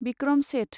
बिक्रम सेथ